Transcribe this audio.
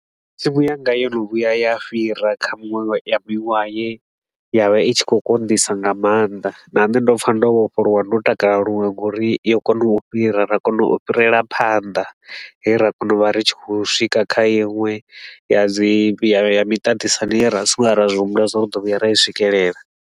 Tsimu yanga yo no vhuya ya fhira kha muṅwe ya wa bwiwa, ye ya vha i tshi khou konḓisa nga maanḓa. Nne ndo pfa ndo vhofholowa, ndo takala luṅwe nga uri yo kona u fhira ra kona u fhirela phanḓa he ra kona u vha ri tshi khou swika kha iṅwe ya dzi ya miṱaṱisano ye ra vha ri so ngo vhuya ra zwi humbula zwa uri ri ḓo vhuya ra i swikelela.